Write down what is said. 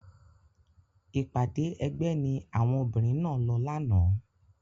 Ìpàdé ẹgbẹ́ ni àwọn obìnrin náà lọ lánàá.